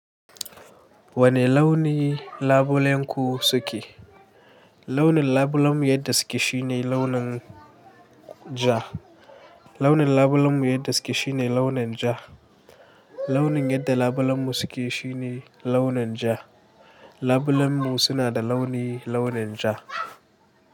Wane launi labulenku suke? Launin labulenmu yadda suke shine launin ja. Launin labulenmu yadda suke shine launin ja. Launin yadda labulenmu suke shine launin ja. Labulenmu suna da launi launin ja.